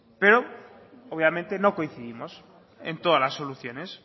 pero obviamente no coincidimos en todas las soluciones